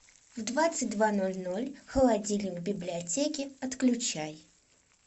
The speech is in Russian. в двадцать два ноль ноль холодильник в библиотеке отключай